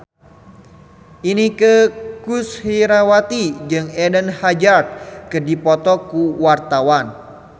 Inneke Koesherawati jeung Eden Hazard keur dipoto ku wartawan